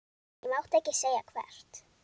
Ég mátti ekki segja hvert.